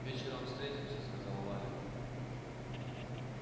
вечером встретимся сказал валя